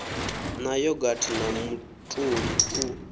na yogathi na mutoli u